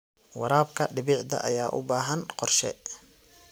Waraabka dhibicda ayaa u baahan qorshe.